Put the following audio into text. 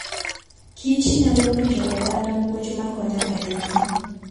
Kich nyalo puonjo oganda puonj makonyo ahinya.